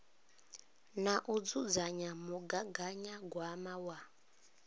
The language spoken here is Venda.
na u dzudzanya mugaganyagwama wa